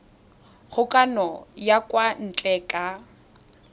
kgokagano ya kwa ntle ka